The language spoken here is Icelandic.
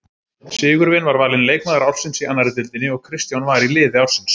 Sigurvin var valinn leikmaður ársins í annarri deildinni og Kristján var í liði ársins.